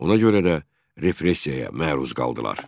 Ona görə də repressiyaya məruz qaldılar.